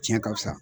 Tiɲɛ ka fisa